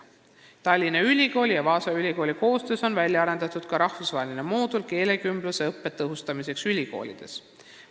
Tallinna Ülikooli ja Vaasa ülikooli koostöös on välja arendatud ka rahvusvaheline moodul keelekümblusõppe tõhustamiseks ülikoolides.